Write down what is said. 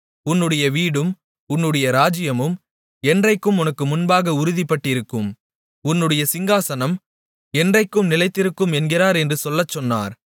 உன்னுடைய வீடும் உன்னுடைய ராஜ்ஜியமும் என்றென்றைக்கும் உனக்கு முன்பாக உறுதிப்பட்டிருக்கும் உன்னுடைய சிங்காசனம் என்றென்றைக்கும் நிலைத்திருக்கும் என்கிறார் என்று சொல்லச்சொன்னார்